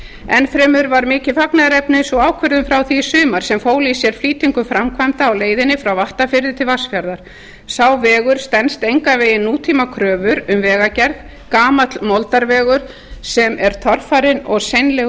enn fremur var mikið fagnaðarefni sú ákvörðun frá því í sumar sem fól í sér flýtingu framkvæmda á leiðinni frá vattarfirði til vatnsfjarðar sá vegur stenst engan veginn nútímakröfur um vegagerð gamall moldarvegur sem er torfarinn og